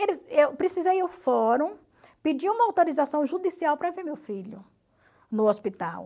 Eu precisei ir ao fórum, pedir uma autorização judicial para ver meu filho no hospital.